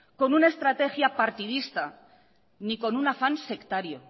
con una estrategia partidista ni con un afán sectario